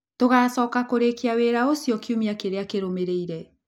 Tũgaacoka kũrĩĩkia wĩra ũcio kiumia kĩrĩa kĩrũmĩrĩire.